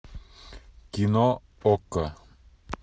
кино окко